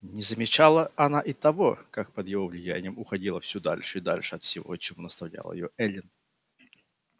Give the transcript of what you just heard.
не замечала она и того как под его влиянием уходила всё дальше и дальше от всего чему наставляла её эллин